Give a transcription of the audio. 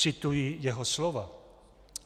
Cituji jeho slova.